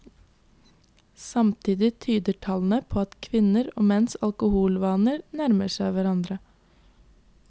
Samtidig tyder tallene på at kvinner og menns alkoholvaner nærmer seg hverandre.